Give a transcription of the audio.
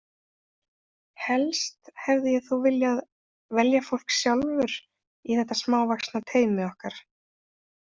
Helst hefði ég þó viljað velja fólk sjálfur í þetta smávaxna teymi okkar.